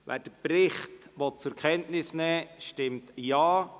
Wer den Bericht zur Kenntnis nehmen will, stimmt Ja,